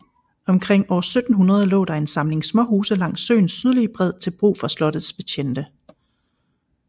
Omkring år 1700 lå der en samling småhuse langs søens sydlige bred til brug for slottets betjente